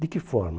De que forma?